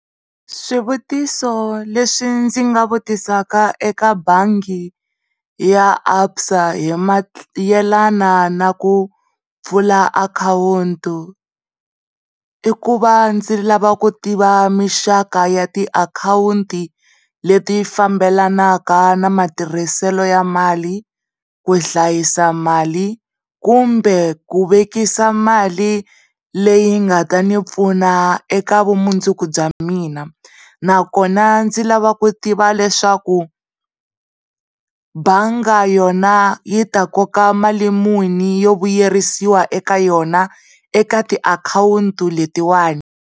Swivutiso leswi ndzi nga vutisaka eka bangi ya ABSA hi mayelana na ku pfula akhawunti i ku va ndzilava ku tiva mixaka ya tiakhawunti leti fambelanaka na matirhiselo ya mali, ku hlayisa mali kumbe ku vekisa mali leyi nga ta ni pfuna eka vumundzuku bya mina nakona ndzi lava ku tiva leswaku banga yona yi ta koka mali muni yo vuyerisiwa eka yona eka tiakhawunti letiwana.